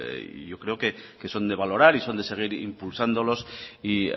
y yo creo que son de valorar y son de seguir impulsándolos y